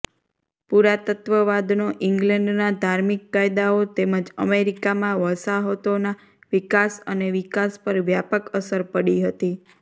પુરાતત્વવાદનો ઇંગ્લેન્ડના ધાર્મિક કાયદાઓ તેમજ અમેરિકામાં વસાહતોના વિકાસ અને વિકાસ પર વ્યાપક અસર પડી હતી